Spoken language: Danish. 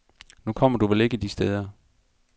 Nu kommer du vel ikke de steder.